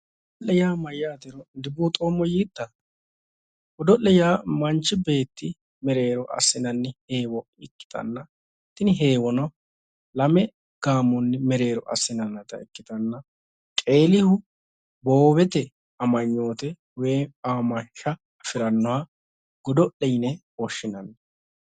Godo'le yaa mayyaateroo dubuuxoomma yiitta godo'le yaa manchi beetti mereero assinanni heewo ikkitanna tini heewono lame gaamonni mereero assinannita ikkitanna qeelihu boowote amanyoote woyi aamansha afirannoha godo'le yine woshshinannj